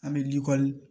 An bɛ likɔli